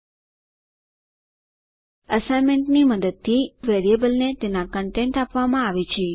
એસાઈનમેન્ટની મદદથી equal to વેરિયેબલને તેના કન્ટેન્ટ આપવામાં આવે છે